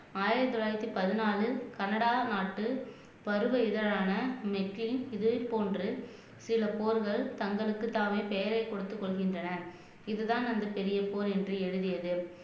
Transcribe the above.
ஆயிரத்து தொள்ளாயிரத்து பதினான்கில் கனடா நாட்டில் பருவ இதழான மெத்தின் இது போன்று சில போர்கள் தங்களுக்குத்தானே பெயரைக் கொடுத்துக் கொள்கின்றன இதுதான் அந்த பெரிய போர் என்று எழுதியது